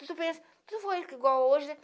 Tu pensa, tu for rico igual hoje